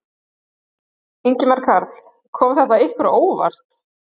Ingimar Karl: Kom þetta ykkur á óvart?